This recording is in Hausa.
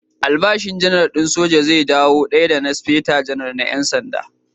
Albashin Janar din soja zai dawo daya da na Speta Janar na ƴan sanda.